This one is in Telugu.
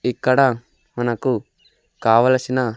ఇక్కడ మనకు కావలసిన.